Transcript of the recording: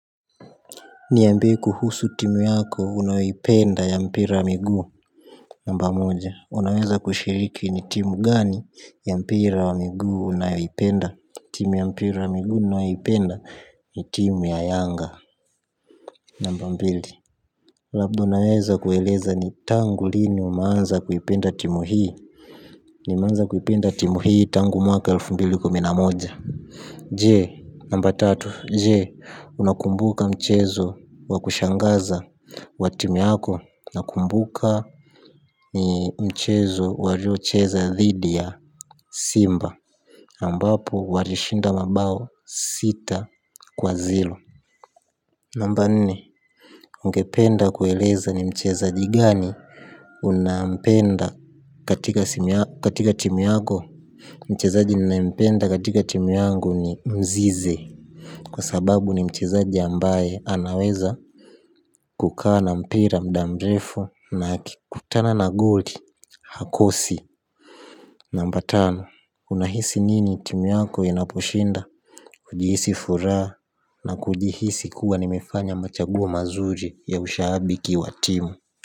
Niambie kuhusu timu yako unayoipenda ya mpira wa miguu namba moja. Unaweza kushiriki ni timu gani ya mpira wa miguu unayoipenda? Timu ya mpira wa miguu nibnayoipenda ni timu ya yanga namba mbili. Labda unaweza kueleza ni tangu lini umeanza kuipenda timu hii. Nimeanza kuipenda timu hii tangu mwaka elfu mbili kumi na moja. Je namba tatu. Je, unakumbuka mchezo wa kushangaza. Wa timu yako nakumbuka ni mchezo waliocheza dhidi ya simba ambapo walishinda mabao sita kwa zero. Namba nne, ungependa kueleza ni mchezaji gani unampenda katika timu yako. Mchezaji ninaempenda katika timu yangu ni mzize. Kwa sababu ni mchezaji ambaye anaweza kukaa na mpira muda mrefu na akikutana na goli. Hakosi. Namba tano. Unahisi nini timu yako inaposhinda hujihisi furaha na kujihisi kuwa nimefanya machaguo mazuri ya ushabiki wa timu.